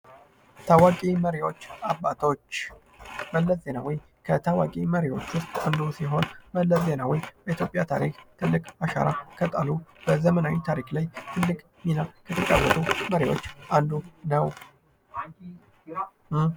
ታዋቂ መሪዎችና አባቶች ፡-መለስ ዜናዊ ከታዋቂ መሪዎች መካከል አንዱ ሲሆን በኢትዮጵያ ታሪክ ትልቅ አሻራ ከጣሉ በዘመናዊ ታሪክ ላይ ትልቅ ሚና የተጫወቱ መሪ ናቸው።